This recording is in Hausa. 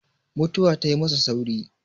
mutuwa tai masa sauri